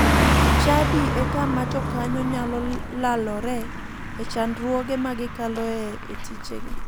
Chadi e kama jokanyo nyalo lalore e chandruoge ma gikaloe e tijegi.